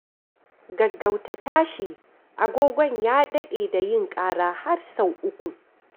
Gaggauta tashi! Agogon ya daɗe da yin ƙara har sau uku.